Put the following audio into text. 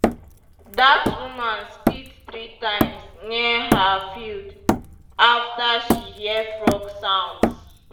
dat woman spit three times near her field after she hear frog sounds.